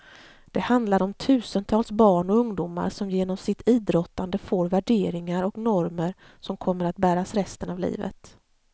Det handlar om tusentals barn och ungdomar som genom sitt idrottande får värderingar och normer som kommer att bäras resten av livet.